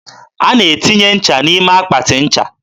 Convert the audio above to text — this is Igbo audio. a na-etinye nche n'ime akpatị ncha.